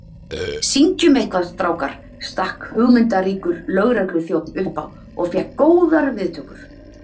Syngjum eitthvað, strákar stakk hugmyndaríkur lögregluþjónn upp á og fékk góðar viðtökur.